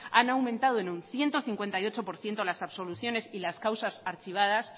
han aumentado en un ciento cincuenta y ocho por ciento las absoluciones y las causas archivadas